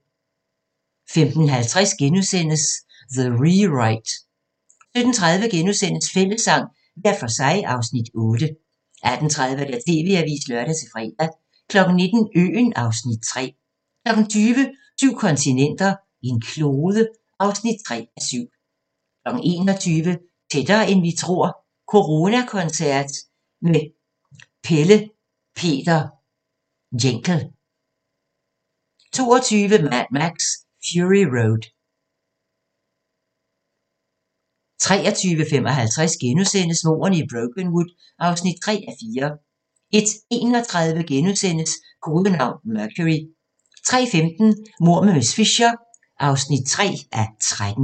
15:50: The Rewrite * 17:30: Fællessang – hver for sig (Afs. 8)* 18:30: TV-avisen (lør-fre) 19:00: Øen (Afs. 3) 20:00: Syv kontinenter, en klode (3:7) 21:00: Tættere, end vi tror - coronakoncert med Pelle Peter Jencel 22:00: Mad Max: Fury Road 23:55: Mordene i Brokenwood (3:4)* 01:31: Kodenavn: Mercury * 03:15: Mord med miss Fisher (3:13)